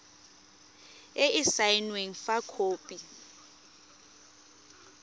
e e saenweng fa khopi